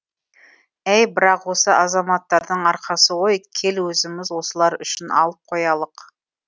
әй бірақ осы азаматтардың арқасы ғой кел өзіміз осылар үшін алып қоялық